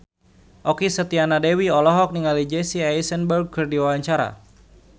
Okky Setiana Dewi olohok ningali Jesse Eisenberg keur diwawancara